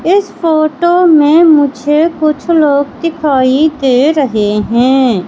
इस फोटो में मुझे कुछ लोग दिखाई दे रहे हैं।